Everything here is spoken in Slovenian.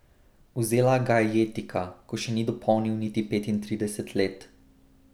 Vzela ga je jetika, ko še ni dopolnil niti petintrideset let.